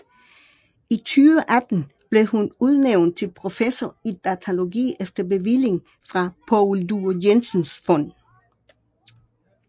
I 2018 blev hun udnævnt til professor i datalogi efter bevilling fra Poul Due Jensens Fond